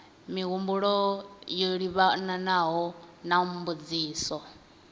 mihumbulo yo livhanaho na mbudziso